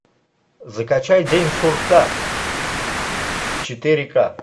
закачай день сурка четыре ка